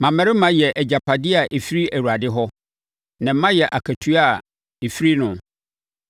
Mmammarima yɛ agyapadeɛ a ɛfiri Awurade hɔ, na mma yɛ akatua a ɛfiri noɔ.